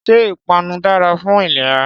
Ṣé Ìpanu dára fún ìlera